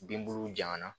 Bin buluw janfa na